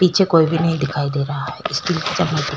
पीछे कोई भी नहीं दिखाई दे रहा है स्टील के चम्मच के अलावा--